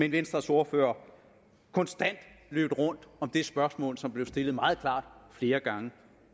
at venstres ordfører konstant løb rundt om det spørgsmål som blev stillet meget klart flere gange